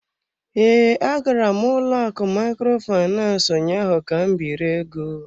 Ee, agara m ụlọ akụ Microfinance ụnyaahụ ka m biri ego.